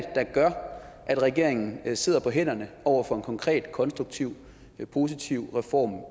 der gør at regeringen sidder på hænderne over for en konkret konstruktiv positiv reform